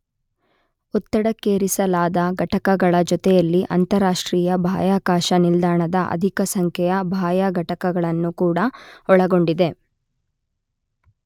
ಒತ್ತಡಕ್ಕೇರಿಸಲಾದ ಘಟಕಗಳ ಜೊತೆಯಲ್ಲಿ ಅಂತರರಾಷ್ಟ್ರೀಯ ಬಾಹ್ಯಾಕಾಶ ನಿಲ್ದಾಣದ ಅಧಿಕ ಸಂಖ್ಯೆಯ ಬಾಹ್ಯ ಘಟಕಗಳನ್ನು ಕೂಡ ಒಳಗೊಂಡಿದೆ.